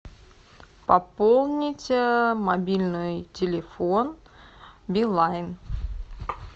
пополнить мобильный телефон билайн